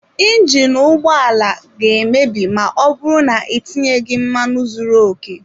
Injinu ụgbọ ala ga-emebi ma ọ bụrụ na itinyeghị mmanụ zuru oke.